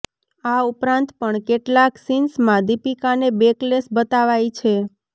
આ ઉપરાંત પણ કેટલાક સીન્સમાં દીપિકાને બૅકલેસ બતાવાઈ છે